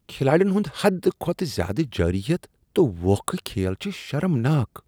کھلاڑین ہنٛد حد کھوتہٕ زیادٕ جارحیت تہٕ ووکھٕ کھیل چھ شرمناک۔